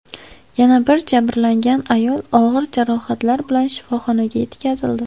Yana bir jabrlangan ayol og‘ir jarohatlar bilan shifoxonaga yetkazildi.